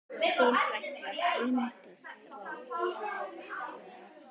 Þín frænka, Bryndís Rós.